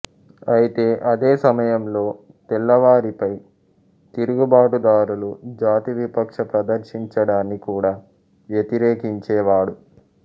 అయితే అదే సమయంలో తెల్లవారిపై తిరుగుబాటుదారులు జాతివివక్ష ప్రదర్శించడాన్ని కూడా వ్యతిరేకించేవాడు